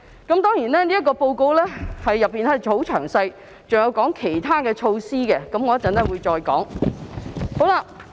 這份報告相當詳細，還有提及一些其他措施，我稍後會再討論。